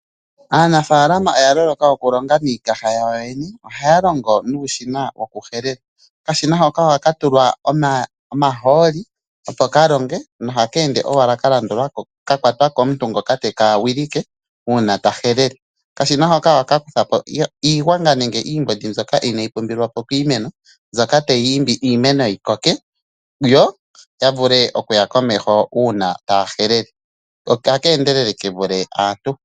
Aanafalama oya loloka oku longa niikaha yawo yo yene, ohaya longo nuushina woku helela. Okashina hoka ohaka tulwa omahooli, opo ka longe na ohaka ende wala ka landulako, kakwatwa komuntu ngoka teka wilike uuna ta helele. Okashina hoka ohaka kuthapo iigwanga nenge iimbondi mbyoka inayi pumbiwa ko piimeno, mbyoka tayi imbi iimeno yii koke, yo ya vule okuya komeho uuna taya helele, oshoka otaka endelele ke vule aantu.